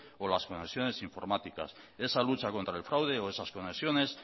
o las conexiones informáticas esa la lucha contra el fraude o esas conexiones